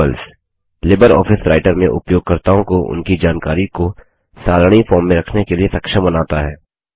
tables LibreOffice Writer में उपयोगकर्ताओं को उनकी जानकारी को सारणी फॉर्म में रखने के लिए सक्षम बनाता है